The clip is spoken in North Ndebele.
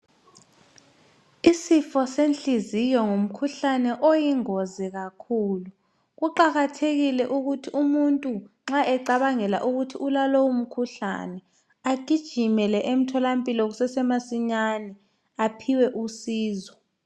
Isifo senhliziyo ngumkhuhlane oyingozi kakhulu. Kuqakathekile ukuthi umuntu nxa ecabangela ukuthi ulalowo mkhuhlane agijimele emtholampilo kusese masinyane aphiwe usizo.